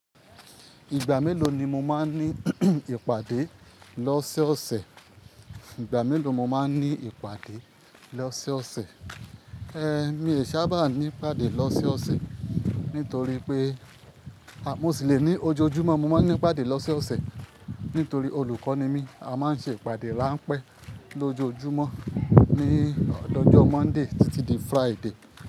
Ìgbà mélòó ni mo máa ń ní ìpàdé lọ́sọ̀sẹ̀? Ìgbà mélòó mo máa ń ní ìpàdé lọ́sẹ̀ ọ̀sẹ̀? Mi ò sábà ní ìpàdé lọ́sẹ̀ ọ̀sẹ̀ nítorí pé, mo sì lè ní ojoojúmọ́ mo máa ń ní ìpàdé lọ́sẹ̀ ọ̀sẹ̀ nítorí olùkọ́ ni mí. A máa ń ṣe ìpàdé ráńpẹ́ lójoojúmọ́ ní ọjọ́ Monday títí di Friday.